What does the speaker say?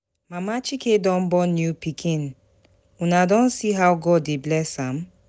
Mama Chike don born new pikin, una don see how God dey bless am?